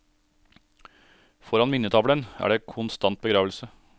Foran minnetavlen er det konstant begravelse.